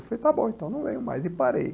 Eu falei, está bom, então não venho mais e parei.